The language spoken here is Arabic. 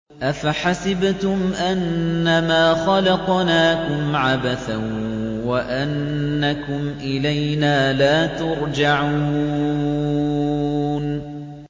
أَفَحَسِبْتُمْ أَنَّمَا خَلَقْنَاكُمْ عَبَثًا وَأَنَّكُمْ إِلَيْنَا لَا تُرْجَعُونَ